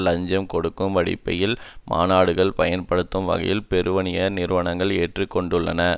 இலஞ்சம் கொடுக்கும் வடிவமைப்பில் மாநாடுகளை பயன்படுத்தும் வகையில் பெருவணிக நிறுவனங்கள் ஏற்று கொண்டுள்ளன